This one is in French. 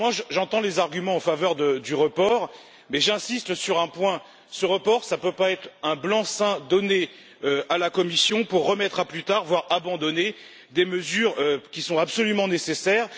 J'entends les arguments en faveur du report, mais j'insiste sur un point ce report ne peut pas être un blanc seing donné à la Commission pour remettre à plus tard, voire abandonner, des mesures qui sont absolument nécessaires.